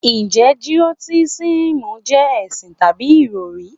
Njẹ Gnotisísìm jẹ́ ẹ̀sìn tàbí ìròrí?